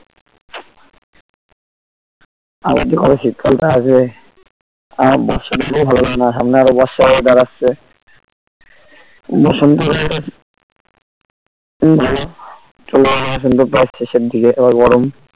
আর যে কবে শীতকালটা আসবে আমার বর্ষা টা কেও ভালো লাগেনা সামনে আরো বর্ষা weather আসছে বসন্ত কালটা খুব ভালো শেষের দিকে আবার গরম